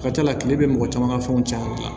A ka ca la kile bɛ mɔgɔ caman ka fɛnw cɛn ka dilan